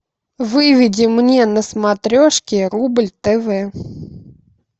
выведи мне на смотрешке рубль тв